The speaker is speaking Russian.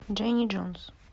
дженни джонс